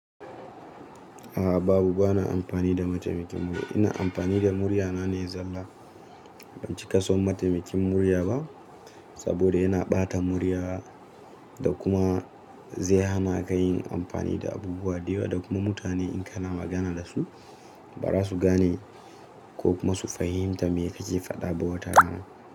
A'a babu, bana amfani da mataimakin murya. Ina amfani da murya na ne zalla. Ban cika son mataimakin murya ba saboda yana ɓata muryata da kuma zai hana ka yin amfani da abubuwa da yawa da kuma mutane in kana magana da su, ba za su gane ko kuma su fahimta me ake faɗa ba wata rana.